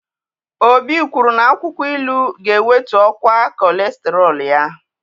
Obi kwuru na akwụkwọ ilu ga-ewetu ọkwa kọlesterọl ya.